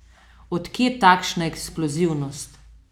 Od kje takšna eksplozivnost?